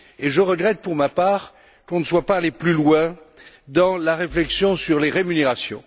Je regrette, pour ma part, qu'on ne soit pas allé plus loin dans la réflexion sur les rémunérations.